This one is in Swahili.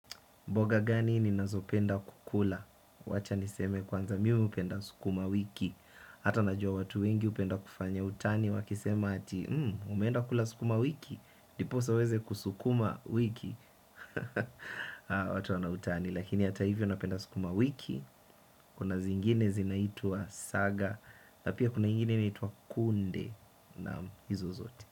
Mboga gani ninazo penda kukula? Wacha niseme kwanza mimi hupenda sukumawiki. Hata najua watu wengi hupenda kufanya utani wakisema ati umeenda kula sukuma wiki. Ndiposa uweze kusukuma wiki. Watu wana utani. Lakini hata hivyo napenda sukuma wiki. Kuna zingine zinaitwa saga na pia kuna ingine inaitwa kunde. Naam hizo zote.